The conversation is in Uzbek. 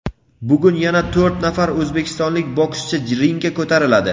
Bugun yana to‘rt nafar o‘zbekistonlik bokschi ringga ko‘tariladi.